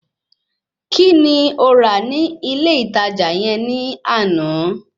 Kíni o rà ní ilé ìtajà yẹn ní àná?